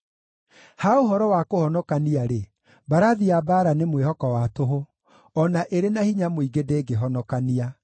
Ha ũhoro wa kũhonokania-rĩ, mbarathi cia mbaara nĩ mwĩhoko wa tũhũ; o na ĩrĩ na hinya mũingĩ ndĩngĩhonokania.